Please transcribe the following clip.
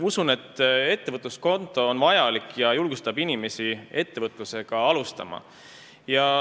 Usun, et ettevõtluskonto on vajalik ja julgustab inimesi ettevõtlusega alustama.